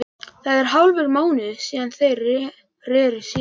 Það er hálfur mánuður síðan þeir reru síðast.